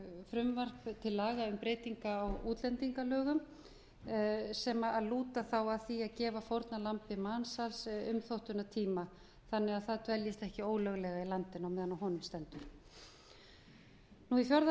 frumvarp til laga um breytingu á útlendingalögum sem lúta þá að því að gefa fórnarlambi mansals umþóttunartíma þannig að það dveljist ekki ólöglega í landinu meðan á honum stendur í fjórða